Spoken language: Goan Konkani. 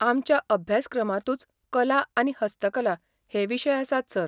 आमच्या अभ्यासक्रमांतूच कला आनी हस्तकला हे विशय आसात, सर.